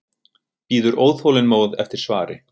Bíður óþolinmóð eftir svari.